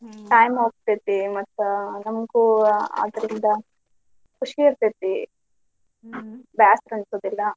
Time ಹೋಗ್ತೇತಿ ಮತ್ತ್ ನಮಗೂ ಅದರಿಂದ ಖುಷಿ ಇರ್ತೇತಿ ಬ್ಯಾಸರ ಅನಿಸುದಿಲ್ಲಾ.